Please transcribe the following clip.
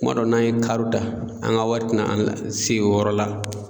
Kuma dɔ n'an ye ta an ka wari tɛ na an se o yɔrɔ la.